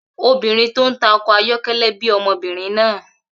Obìnrin tó ń ta ọkọ̀ ayọ́kẹ́lẹ́ bí ọmọbìnrin náà